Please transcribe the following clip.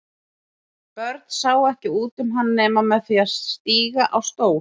Börn sáu ekki út um hann nema með því að stíga á stól.